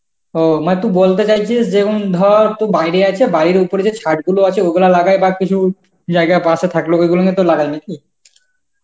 অঃ মানে তুই বলতে চাইছিস যে উম ধর তোর বাইরে আছে, বাইরে ওপরে যে ছাদ গুলো আছে ওগুলা লাগায় বা কিছু জায়গায় বাসা থাকল ওইগুলোর মধ্যে লাগায় নাকি?